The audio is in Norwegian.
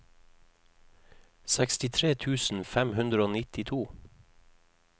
sekstitre tusen fem hundre og nittito